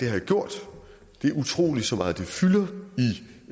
jeg gjort at det er utroligt så meget